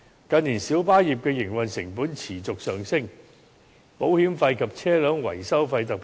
近年小巴業的營運成本，包括保險費和車輛維修費，均持續上升。